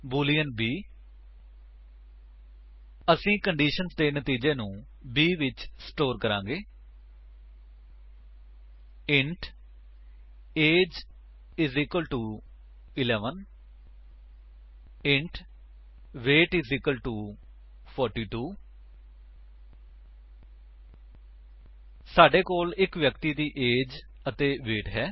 boolean b 160 ਅਸੀ conditions ਦੇ ਨਤੀਜੇ ਨੂੰ b ਵਿੱਚ ਸੰਗ੍ਰਿਹ ਕਰਾਂਗੇ 160 int A G E I S equal to 11 int weight I S equal to 42 ਸਾਡੇ ਕੋਲ ਇੱਕ ਵਿਅਕਤੀ ਦੀ ਏਜ ਅਤੇ ਵੇਟ ਹੈ